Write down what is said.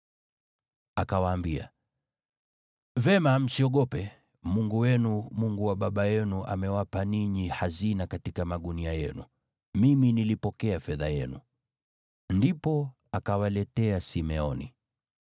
Akawaambia, “Vema, msiogope. Mungu wenu, Mungu wa baba yenu, amewapa ninyi hazina katika magunia yenu; mimi nilipokea fedha yenu.” Ndipo akawaletea Simeoni.